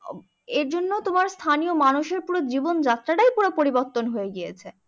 এর জন্য তোমার স্থানীয় মানুষের পুরো জীবন যাত্রাটাই পুরো পরিবর্তন হয়ে গিয়েছে।